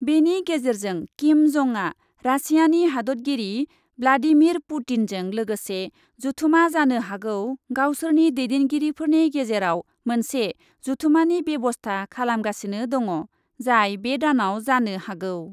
बेनि गेजेरजों किम जंआ रासियानि हादतगिरि ब्लाडिमिर पुतिनजों लोगोसे जथुमा जानो हागौ गावसोरनि दैदेनगिरिफोरनि गेजेराव मोनसे जथुमानि बेब'स्था खालामगासिनो दङ , जाय बे दानाव जानो हागौ ।